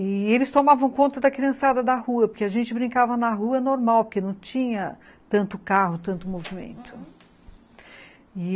E eles tomavam conta da criançada da rua, porque a gente brincava na rua normal, porque não tinha tanto carro, tanto movimento, uhum. E ele